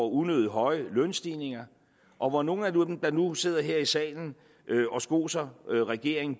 unødig høje lønstigninger og hvor nogle af dem der nu sidder her i salen og skoser regeringen